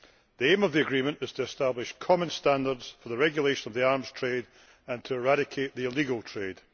The aim of the agreement is to establish common standards for the regulation of the arms trade and to eradicate their illegal trade.